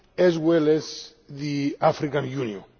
as well as the African Union.